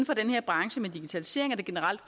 for den her branche med digitalisering at der generelt